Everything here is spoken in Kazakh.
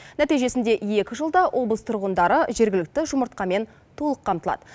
нәтижесінде екі жылда облыс тұрғындары жергілікті жұмыртқамен толық қамтылады